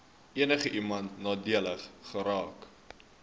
enigiemand nadelig geraak